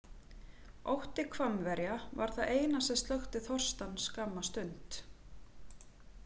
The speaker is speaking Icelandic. Ótti Hvammverja var það eina sem slökkti þorstann skamma stund.